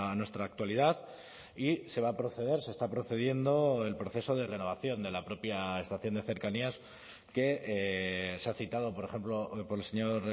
nuestra actualidad y se va a proceder se está procediendo el proceso de renovación de la propia estación de cercanías que se ha citado por ejemplo por el señor